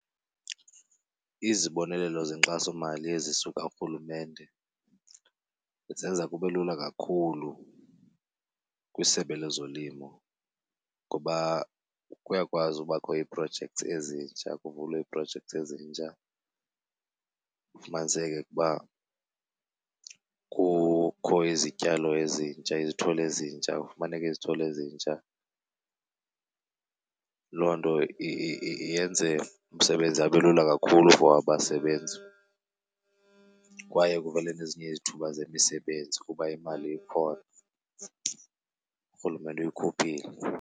Izibonelelo zenkxasomali ezisuka kuRhulumente zenza kube lula kakhulu kwisebe lezolimo ngoba kuyakwazi ubakho ii-projects ezintsha kuvulwe ii-projects ezintsha. Kufumaniseke ukuba kukho izityalo ezintsha, izithole ezintsha, kufumaneka izithole ezintsha. Loo nto yenze umsebenzi abe lula kakhulu for abasebenzi kwaye kuvele nezinye izithuba zemisebenzi kuba imali ikhona uRhulumente uyikhuphile.